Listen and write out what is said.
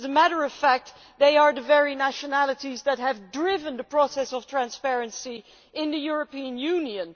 As a matter of fact, they are the very nationalities that have driven the process of transparency in the European Union.